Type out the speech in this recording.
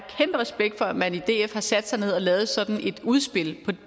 respekt for at man i df har sat sig ned og lavet sådan et udspil på